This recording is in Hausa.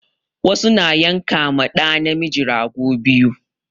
Wasu na yanka ma ɗa namiji rago biyu